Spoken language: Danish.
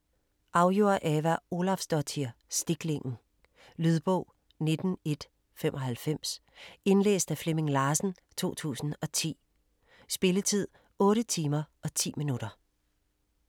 Auður Ava Ólafsdóttir: Stiklingen Lydbog 19195 Indlæst af Flemming Larsen, 2010. Spilletid: 8 timer, 10 minutter.